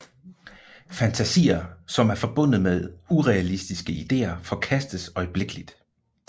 Fantasier som er forbundet med urealistiske idéer forkastes øjeblikkeligt